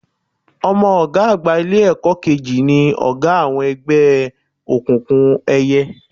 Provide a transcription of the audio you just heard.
Ọmọ ọ̀gá àgbà Ilé-ẹ̀kọ́ kejì ni ọ̀gá àwọn ẹgbẹ́ òkùnkùn ẹyẹ